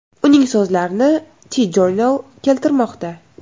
Uning so‘zlarini TJournal keltirmoqda .